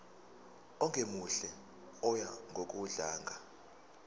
ongemuhle oya ngokudlanga